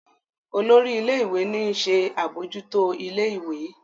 olórí ilé ìwé ní nṣe abojuto ilé ìwé.